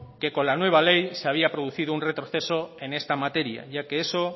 que con la nueva ley se había producido un retroceso en esta materia ya que eso